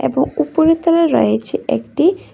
ও উপরে তলায় রয়েছে একটি--